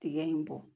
Tigɛ in bɔ